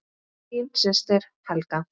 Þín systir Helga.